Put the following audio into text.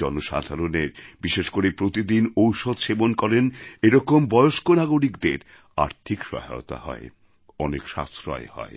জনসাধারণের বিশেষ করে প্রতিদিন ঔষধ সেবন করেন এরকম বয়স্ক নাগরিকদের আর্থিক সহায়তা হয় অনেক সাশ্রয় হয়